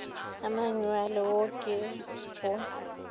a manyuale wo ke go